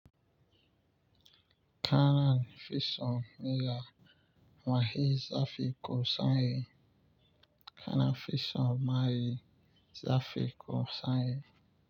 Kanan fison miya mahaiza fikku sanyi. Kanan fison mahaiza fikku sanyi.